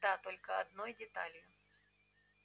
да только одной деталью